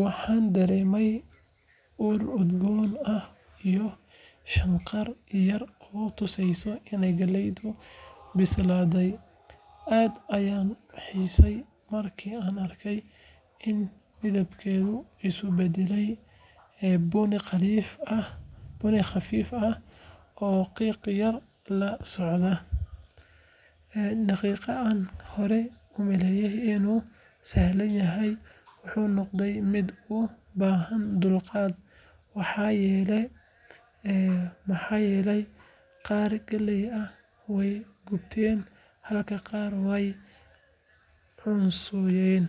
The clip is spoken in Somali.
Waxaan dareemay ur udgoon ah iyo shanqar yar oo tusaysa in galleydu bislaanayso. Aad ayaan u xiiseeyay markii aan arkay in midabkeedu isu beddelay bunni khafiif ah oo qiiq yar la socda. Dabaqii aan hore u maleynayay inuu sahlan yahay wuxuu noqday mid u baahan dulqaad, maxaa yeelay qaar galley ah way gubteen halka qaar kale ay weli cuncunayeen.